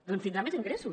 doncs tindrà més ingressos